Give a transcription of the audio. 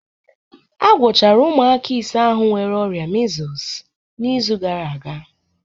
A gwọchara ụmụaka ise ahụ nwere ọrịa measles n'izu gara aga